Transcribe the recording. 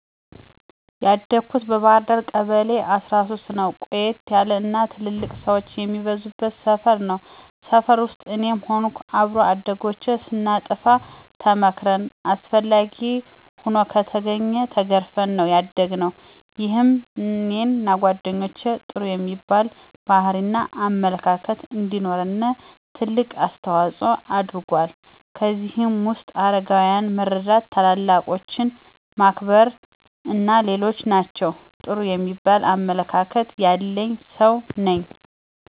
ያደኩት በባህርዳር ከተማ ቀበሌ13ነው። ቆየት ያለ እና ትልልቅ ሠወች የሚበዙበት ሰፈር ነው። ሰፈር ውስጥ እኔም ሆንኩ አብሮ አደጎቼ ስናጠፋ ተመክረን አስፈላጊ ሆኖ ከተገኘ ተገርፈን ነው ያደግነው። ይሄም እኔንና ጓደኞቼ ጥሩ የሚባል ባህሪ እና አመለካከት እንዲኖረን ትልቅ አስተዋጽኦ አድርጎአል። ከእነዚህም ውስጥ አረጋውያንን መርዳ፣ ታላላቆችን ማክበር አና ሌሎችም ናቸው። ጥሩ የሚባል አመለካከት ያለኝ ሠው ነኝ።